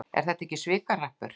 Er þetta ekki svikahrappur?